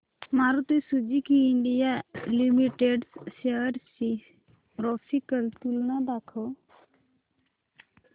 Maruti Suzuki India limited shares ची graphical तुलना दाखव